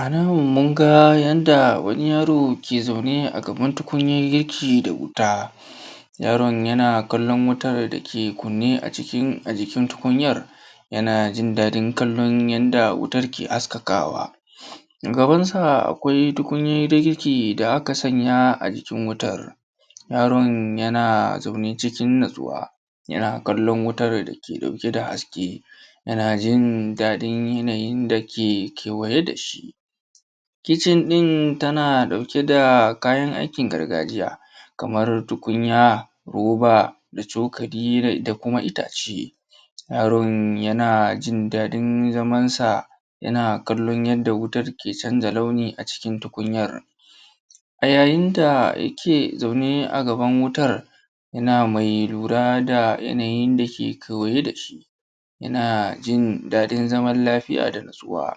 A nan mun ga yanda wani yaro ke zaune a gaban tukunyar girki da wuta. Yaron yana kallon wutar da ke kunne a jikin tukunyar, yana jin daɗin kallon yanda wutar ke haskakaawa. A gabansa akwai tukunyar girki da aka sanya a jikin wutar. Yaron yana zaune cikin natsuwa, yana kallon wutar da ke ɗauke da haske, yana jin daɗin yanayin da ke kewaye da shi. kitchen ɗin tana ɗauke da kayan aikin gargajiya: kamar tukunya, roba da cokali da ita kuma itace. Yaron yana jin daɗin zamansa, yana jin daɗin yanda wutar ke canza launi a cikin tukunyar. A yayin da yake zaune a gaban wutar, yana mai lura da yanayin da ke kewaye da shi, yana jin daɗin zaman lafiya da natsuwa.